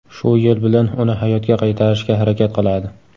Shu yo‘l bilan uni hayotga qaytarishga harakat qiladi.